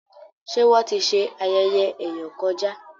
ṣe Wón tí ṣe ayẹyẹ eyọ kọjá?